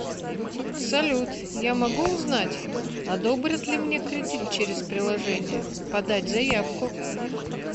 салют я могу узнать одобрят ли мне кредит через приложение подать заявку